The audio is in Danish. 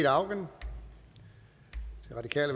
om